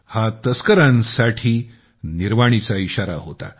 हा तस्करांसाठी सख्त इशारा होता